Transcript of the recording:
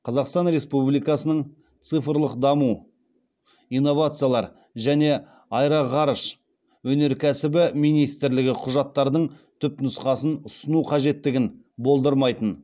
қазақстан республикасының цифрлік даму инновациялар және аэроғарыш өнеркәсібі министрлігі құжаттардың түпнұсқасын ұсыну қажеттігін болдырмайтын